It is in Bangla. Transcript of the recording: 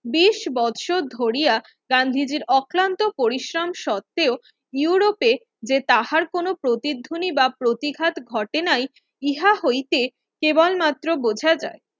বিশ বছর ধরিয়া গান্ধীজির অক্লান্ত পরিশ্রম সত্ত্বেও ইউরোপে যে তাঁহার কোনো প্রতিধ্বনি বা প্রতিঘাত ঘটে নাই ইহা হইতে কেবল মাএ বুঝা যায়